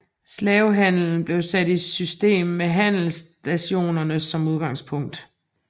Slavehandelen blev sat i system med handelsstationerne som udgangspunkt